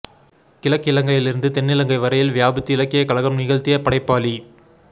கிழக்கிலங்கையிலிருந்து தென்னிலங்கை வரையில் வியாபித்து இலக்கிய கலகம் நிகழ்த்திய படைப்பாளி